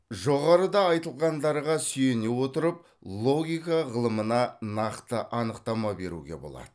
жоғарыда айтылғандарға сүйене отырып логика ғылымына нақты анықтама беруге болады